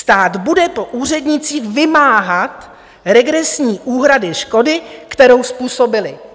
Stát bude po úřednicích vymáhat regresní úhrady škody, kterou způsobili."